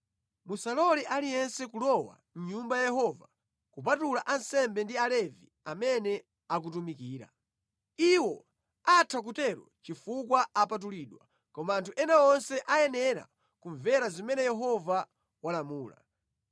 Musalole aliyense kulowa mʼNyumba ya Yehova kupatula ansembe ndi Alevi amene akutumikira. Iwo atha kutero chifukwa apatulidwa koma anthu ena onse ayenera kumvera zimene Yehova walamula.